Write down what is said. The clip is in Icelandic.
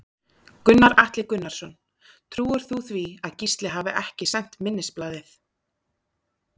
Gunnar Atli Gunnarsson: Trúir þú því að Gísli hafi ekki sent minnisblaðið?